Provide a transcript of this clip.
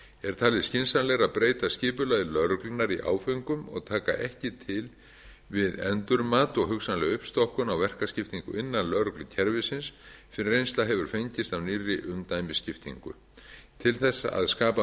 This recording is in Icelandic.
er talið skynsamlegra að breyta skipulagi lögreglunnar í áföngum og taka ekki til við endurmat og hugsanlega uppstokkun á verkaskiptingu innan lögreglukerfisins fyrr en reynsla hefur fengist af nýrri umdæmisskiptingu til að skapa